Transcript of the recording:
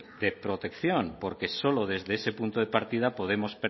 de protección porque solo desde ese punto de partida podemos